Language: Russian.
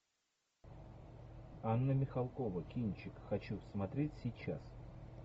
анна михалкова кинчик хочу смотреть сейчас